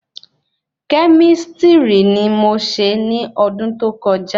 Kẹ́místrì ni mó ṣe ní ọdún tó kọjá